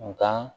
Nga